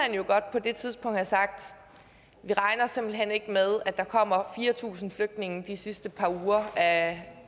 på det tidspunkt have sagt vi regner simpelt hen ikke med at der kommer fire tusind flygtninge de sidste par uger af